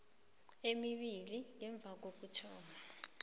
emibili ngemva kokuthoma